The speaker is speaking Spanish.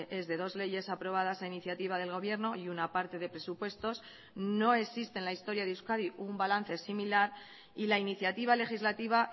es de dos leyes aprobadas a iniciativa del gobierno y una parte de presupuestos no existe en la historia de euskadi un balance similar y la iniciativa legislativa